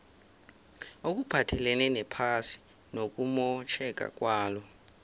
okuphathelene nezephasi nokumotjheka kwalo